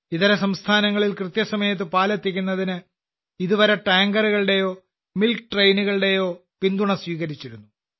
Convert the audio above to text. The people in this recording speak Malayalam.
ഇതരസംസ്ഥാനങ്ങളിൽ കൃത്യസമയത്ത് പാൽ എത്തിക്കുന്നതിന് ഇതുവരെ ടാങ്കറുകളുടെയോ മിൽക്ക് ട്രെയിനുകളുടെയോ പിന്തുണ സ്വീകരിച്ചിരുന്നു